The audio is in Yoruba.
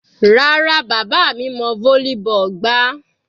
Rárá, bàbá mi mọ volleyball gbá.